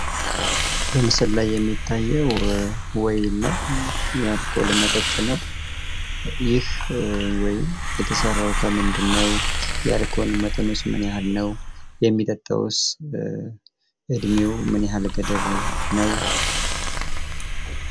በምስሉ ላይ የሚታየው ወይን ነው። የአልኮል መጠጥ ነው። ይህ ወይን የተሰራው ከምንድን ነው? የአልኮል መጠኑስ ምን ያህል ነው? የሚጠጣውስ እድሜው ምን ያህል ገደብ ነው?